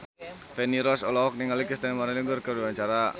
Feni Rose olohok ningali Christina María Aguilera keur diwawancara